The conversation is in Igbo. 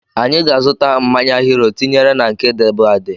Anyị ga-azuta mmanya Hiro tinyere na nke dịbu adị